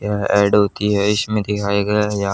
यह एड होती है इसमें दिखाया गया है यहां--